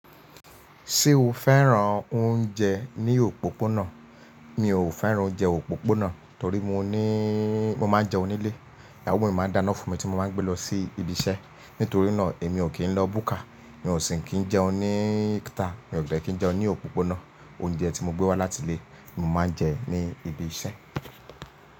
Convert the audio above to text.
Ṣé o fẹ́ran oúnjẹ ní òpópónà? Mi ò fẹ́ran oúnjẹ òpópónà torí mo níí, mo máa ń jẹun nílé. Ìyàwó mi máa n dáná fún mi tí mo máa ń gbé lọ sí ibi iṣẹ́. Nítorí náà èmi ò kí ń lọ búkà. Mi ò sì kí ń jẹun ní ítà. Mi ò de kí ń jẹun ní òpópónà. Oúnjẹ tí mo gbé wá láti ilé ni mo máa ń jẹ ní ibi iṣẹ́.